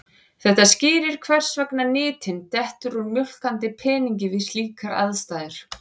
Þetta skýrir hvers vegna nytin dettur úr mjólkandi peningi við slíkar aðstæður.